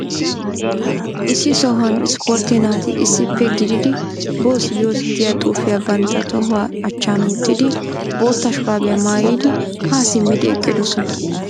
Issi sohuwan ispporttee naati issippe gididi boss yoss giya xuufiya bantta tohuwa achchan wottidi boottaa shuraabiya maayidi haa simmidi eqqidosona.